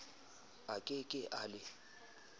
a ke ke a le